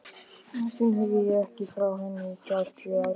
Síðan heyrði ég ekki frá henni í þrjá áratugi.